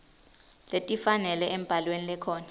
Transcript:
letifanele emibhalweni lekhona